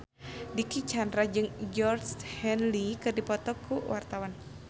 Dicky Chandra jeung Georgie Henley keur dipoto ku wartawan